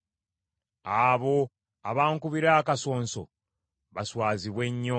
Abo abankubira akasonso baswazibwe nnyo.